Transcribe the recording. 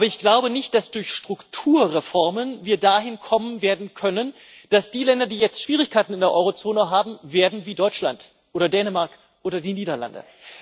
Aber ich glaube nicht, dass wir durch Strukturreformen dahin kommen werden können, dass die Länder, die jetzt Schwierigkeiten in der Eurozone haben, werden wie Deutschland oder Dänemark oder die Niederlande.